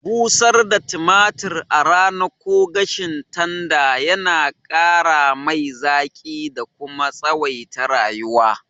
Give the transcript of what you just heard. Busar da tumatir a rana ko gashin tanda yana ƙaramai zaƙi da kuma tsawaita rayuwa.